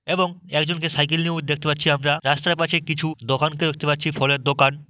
এবং একজনকে সাইকেল নিয়েও দেখতে পাচ্ছি আমরা। রাস্তার পাশে কিছু দোকানকেও দেখতে পাচ্ছি ফলের দোকান।